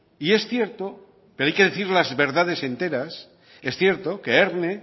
y es cierto pero hay que decir las verdades enteras es cierto que erne